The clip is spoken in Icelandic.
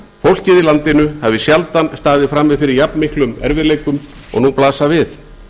fólkið í landinu hafi sjaldan staðið frammi fyrir jafnmiklum erfiðleikum og nú blasa við